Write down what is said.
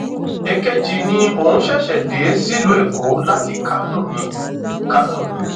èkejì ni òun ṣẹṣẹ dé sílùú èkó láti kánò ni kánò ni